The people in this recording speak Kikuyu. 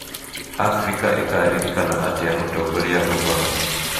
Abirika ĩgaakĩririkana atĩa Mũtongoria Obama?